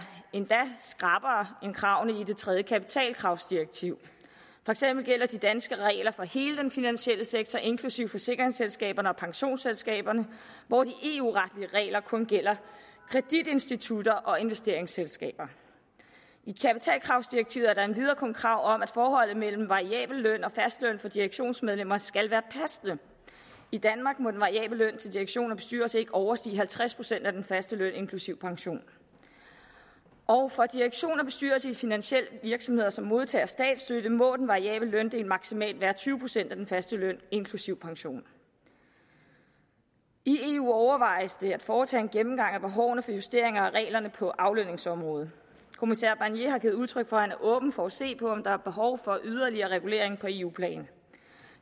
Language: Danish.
endda skrappere end kravene i det tredje kapitalkravsdirektiv for eksempel gælder de danske regler for hele den finansielle sektor inklusive forsikringsselskaberne og pensionsselskaberne hvor de eu retlige regler kun gælder kreditinstitutter og investeringsselskaber i kapitalkravsdirektivet er der endvidere kun krav om at forholdet mellem variabel løn og fast løn for direktionsmedlemmer skal være passende i danmark må den variable løn til direktion og bestyrelse ikke overstige halvtreds procent af den faste løn inklusive pension og for direktion og bestyrelse i finansielle virksomheder som modtager statsstøtte må den variable løndel maksimalt udgøre tyve procent af den faste løn inklusive pension i eu overvejes det at foretage en gennemgang af behovet for justeringer af reglerne for aflønningsområdet kommissær barnier har givet udtryk for at han er åben for at se på om der er behov for yderligere regulering på eu plan